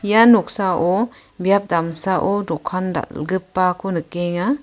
ia noksao biap damsao dokan dal·gipako nikenga.